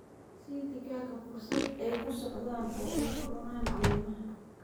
Sii digaagga fursad ay ku socdaan oo ay cunaan caleemaha.